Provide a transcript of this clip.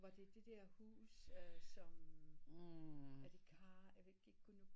Var det der huse øh som a la carte